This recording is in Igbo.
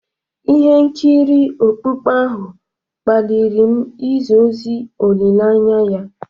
Ihe nkiri okpukpe ahụ kpaliri m izi ozi olileanya ya.